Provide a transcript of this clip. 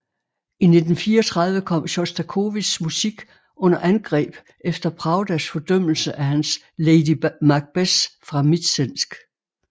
I 1934 kom Sjostakovitjs musik under angreb efter Pravdas fordømmelse af hans Lady Macbeth fra Mtsensk